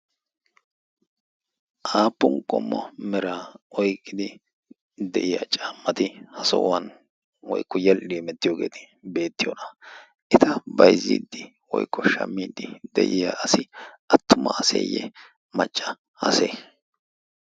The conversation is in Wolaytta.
aappun qomma mera oiqqidi de7iya caammati ha so7uwan woiqqo yedhdhi emettiyoogeeti beettiyoona? eta baizziiddi woikko shammiiddi de7iya asi attuma aseeyye macca ase?